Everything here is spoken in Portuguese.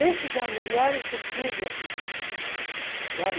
Esses eram melhores do que os da formatura, sabe?